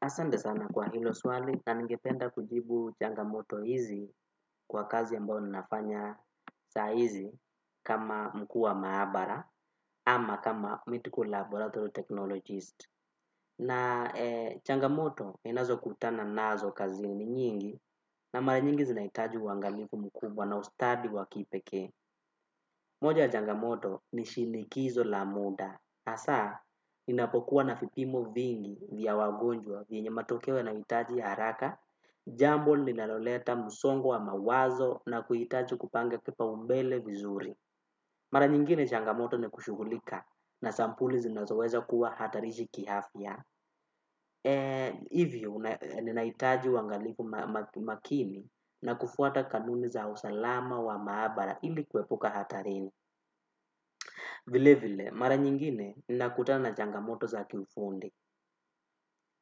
Asante sana kwa hilo swali na ningependa kujibu changamoto hizi kwa kazi ambayo ninafanya saa hizi kama mkuu wa maabara ama kama mythical laboratory technologist. Na changamoto ninazo kutana nazo kazini nyingi na mara nyingi zinahitaji uangalifu mkubwa na ustadi waki pekee. Moja ya changamoto ni shinikizo la muda. Hasa, inapokuwa na vipimo vingi vya wagonjwa vyenye matokeo yanayohitaji haraka. Jambo ninaloleta msongo wa mawazo na kuhitaji kupanga kipaumbele vizuri. Mara nyingine changamoto ni kushughulika na sampuli zinazoweza kuwa hatarishi kiafya. Hivyo, ninahitaji uangalifu makini na kufuata kanuni za usalama wa maabara ili kuepuka hatarini vile vile, mara nyingine, ninakutana changamoto za ki ufundi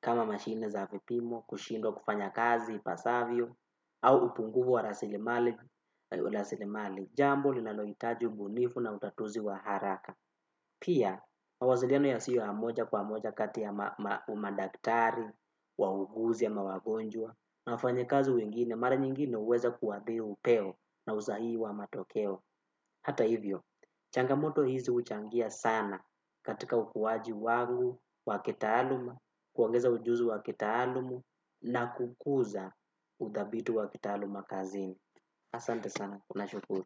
kama mashine za vipimo, kushindwa kufanya kazi, ipasavyo au upungufu wa rasilimali jambo, linalohitaji ubunifu na utatuzi wa haraka pia mawasiliano yasio ya moja kwa moja kati ya madaktari wauguzi ama wagonjwa na wafanyakazi wengine mara nyingine huweza kuathiri upeo na usahihi hata hivyo, changamoto hizi huchangia sana katika ukuaji wangu waki taaluma kuongeza ujuzi wakitaalumu na kukuza udhabiti wa kitaaluma kazini asante sana, na shukuru.